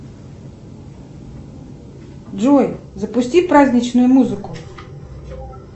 джой запусти праздничную музыку